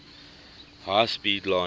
high speed line